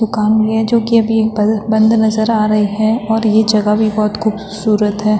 दुकान भी है जो की अभी बल-बंद नजर आ रही है। और ये जगह भी बहोत ख़ूबसूरत है।